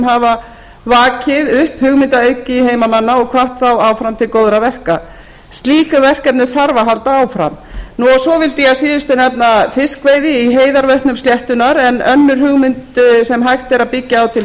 hafa vakið upp hugmyndaauðgi heimamanna og hvatt þá áfram til góðra verka slíkum verkefnum þarf að halda áfram svo vildi ég a síðustu nefna fiskveiði í heiðarvötnum sléttunnar enn önnur hugmynd sem hægt er að byggir á til